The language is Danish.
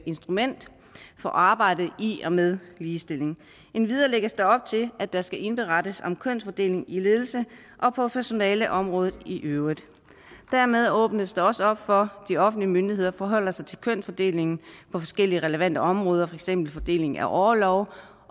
instrument for arbejdet med ligestilling endvidere lægges der op til at der skal indberettes om kønsfordeling i ledelse og på personaleområdet i øvrigt dermed åbnes der også op for de offentlige myndigheder forholder sig til kønsfordelingen på forskellige relevante områder for eksempel fordelingen af orlov